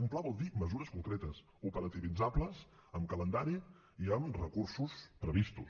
un pla vol dir mesures concretes operativitzables amb calendari i amb recursos previstos